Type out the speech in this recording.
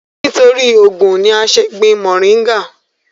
nítorí ògùn ni a ń ṣé gbin mọ̀ríngà